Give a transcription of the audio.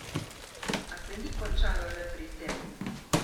A se ni končalo le pri tem.